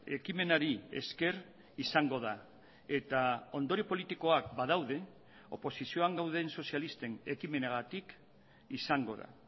ekimenari esker izango da eta ondorio politikoak badaude oposizioan gauden sozialisten ekimenagatik izango da